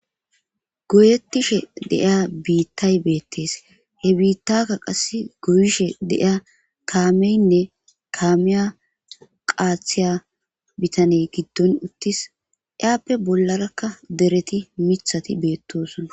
Goyettishe deiya biittay beettees he biittakka qass goyishe deiya kaameynne kaamiya qaathiya bitaney giddon uttis iyappe bollarakka dereti mithati beettosunna.